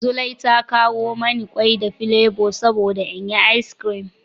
Zulai ta kawo mani ƙwai da filebo saboda in yi ice cream.